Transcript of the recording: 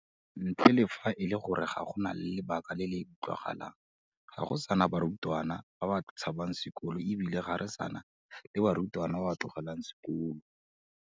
Ntle le fa e le gore go na le lebaka le le utlwagalang, ga go sa na barutwana ba ba tshabang sekolo e bile ga re sa na le barutwana ba ba tlogelang sekolo.